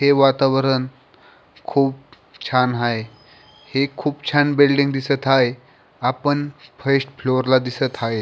हे वातावरण खूप छान हाये हे खूप छान बिल्डिंग दिसत हाये आपण फर्स्ट फ्लोअरला दिसत हाये.